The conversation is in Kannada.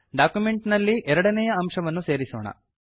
ಡಾಕ್ಯುಮೆಂಟ್ ನಲ್ಲಿ ಎರಡನೇಯ ಅಂಶವನ್ನು ಸೇರಿಸೋಣ